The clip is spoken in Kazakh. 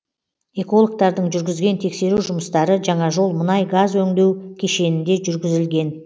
экологтордаң жүргізген тексеру жұмыстары жаңажол мұнай газ өңдеу кешенінде жүргізілген